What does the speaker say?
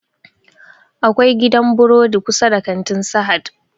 Akwai gidan buredi kusa da kantin sahad